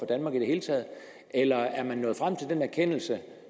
danmark i det hele taget eller er man nået frem til den erkendelse